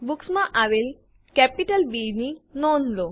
books માં આવેલ capital B ની નોંધ લો